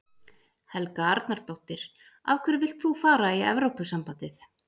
Helga Arnardóttir: Af hverju vilt þú fara í Evrópusambandið?